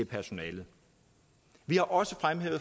personalet vi har også